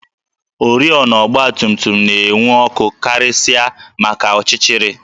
Oriọna ọgbatumtum na-enwu ọkụ karịsịa maka ọchịchịrị